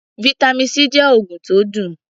Vitamin C jẹ́ oògùn tó dùn.